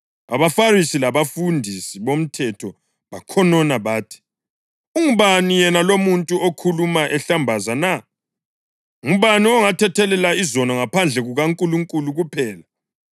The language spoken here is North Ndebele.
AbaFarisi labafundisi bomthetho bakhonona bathi, “Ungubani yena lo umuntu okhuluma ehlambaza na? Ngubani ongathethelela izono ngaphandle kukaNkulunkulu kuphela?”